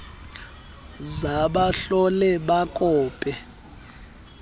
za bahlole bakope